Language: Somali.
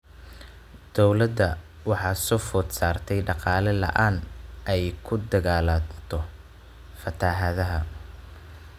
Dowladda waxaa soo food saartay dhaqaale la�aan ay kula dagaalanto fatahaadaha.